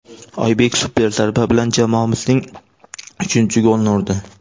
Oybek super zarba bilan jamoamizning uchinchi golini urdi!